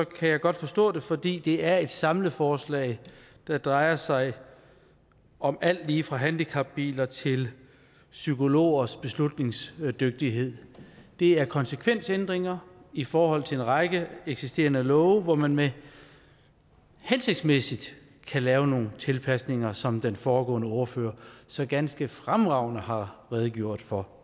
kan jeg godt forstå det fordi det er et samleforslag der drejer sig om alt lige fra handicapbiler til psykologers beslutningsdygtighed det er konsekvensændringer i forhold til en række eksisterende love hvor man hensigtsmæssigt kan lave nogle tilpasninger som den foregående ordfører så ganske fremragende har redegjort for